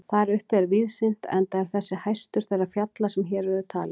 Þar uppi er víðsýnt enda er þessi hæstur þeirra fjalla sem hér eru talin.